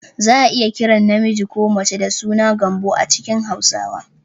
Za a iya kiran namiji ko mace da suna "Gambo" a cikin Hausawa